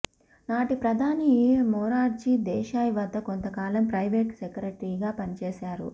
నాటి ప్రధాని మొరార్జీ దేశాయ్ వద్ద కొంతకాలం ప్రైవేట్ సెక్రటరీగా పనిచేశారు